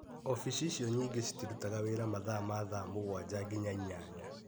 Ofici icio nyingĩ citirutaga wĩra mathaa ma thaa mũgwanja nginya inyanya.